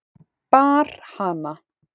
Bar hana